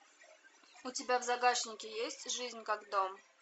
у тебя в загашнике есть жизнь как дом